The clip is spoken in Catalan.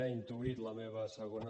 ha intuït la meva segona